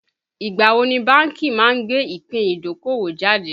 Ìgbà wo ni bánkì má gbé ìpín idokowo jáde